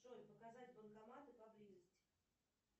джой показать банкоматы поблизости